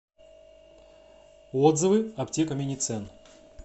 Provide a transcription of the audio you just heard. отзывы аптека миницен